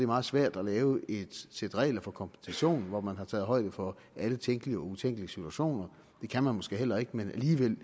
meget svært at lave et sæt regler for kompensation hvor man har taget højde for alle tænkelige og utænkelige situationer det kan man måske heller ikke men alligevel